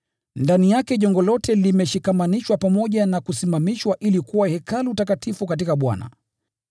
Ndani yake jengo lote limeshikamanishwa pamoja na kusimamishwa ili kuwa Hekalu takatifu katika Bwana.